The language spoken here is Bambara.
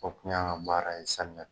O kun y'anw ka baara ye samiya